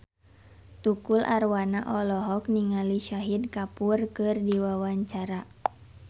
Tukul Arwana olohok ningali Shahid Kapoor keur diwawancara